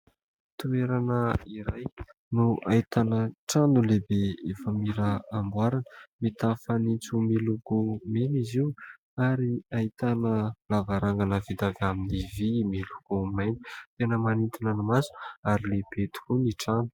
Toerana iray no ahitana trano no lehibe efa mila hamboarina, mitafo fanitso miloko mena izy io ary ahitana lavarangana vita avy amin'ny vy miloko mainty, tena manitona ny maso ary lehibe tokoa ny trano.